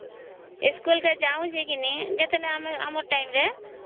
school କେ ଯାଉଛେ କେ ନାଇଁ ଆମର ଟାଇମ ରେ